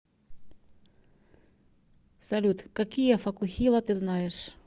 салют какие фокухила ты знаешь